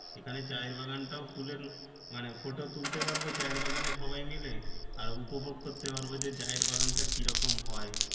মানে photo তুলতে পারবো চা এর বাগানে সবাই মিলে আর উপভোগ করতে পারবো যে চা এর বাগান তা কি রকম হয়।